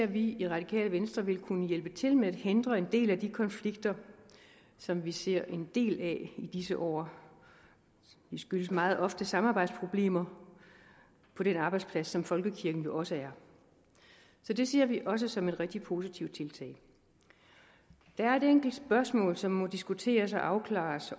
vi i radikale venstre vil kunne hjælpe til med at forhindre en del af de konflikter som vi ser en del af i disse år de skyldes meget ofte samarbejdsproblemer på den arbejdsplads som folkekirken jo også er så det ser vi også som et rigtig positivt tiltag der er et enkelt spørgsmål som må diskuteres og opklares